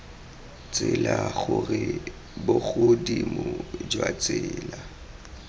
tsela gore bogodimo jwa tsela